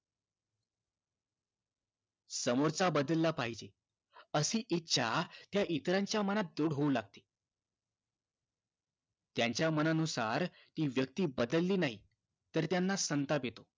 समोरचा बदलला पाहिजे अशी इच्छा इतरांच्या मनात दृढ होऊ लागते त्यांच्या मनानुसार ती व्यक्ती बदलली नाही तर त्यांना संताप येतो